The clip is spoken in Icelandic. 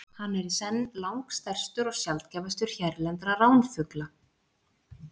Hann er í senn langstærstur og sjaldgæfastur hérlendra ránfugla.